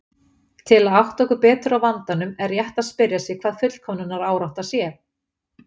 Til að átta okkur betur á vandanum er rétt að spyrja sig hvað fullkomnunarárátta sé.